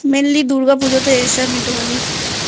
Mainly Durga পুজোতে এসে আমি একটুখানি